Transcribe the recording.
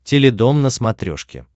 теледом на смотрешке